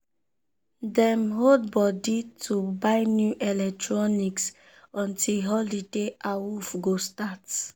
dem hold body to buy new electronics until holiday awooff go start.